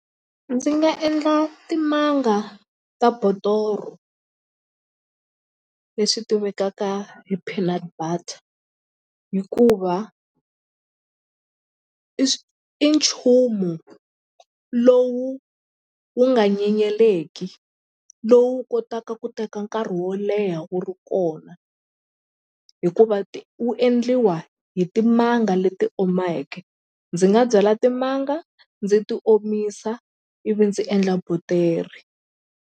Ndzi nga endla timanga ta botoro leswi tivekaka hi peanut butter hikuva i i nchumu lowu wu nga nyenyeleki lowu kotaka ku teka nkarhi wo leha wu ri kona hikuva wu endliwa hi timanga leti omeke ndzi nga byala timanga ndzi ti omisa ivi ndzi endla botere.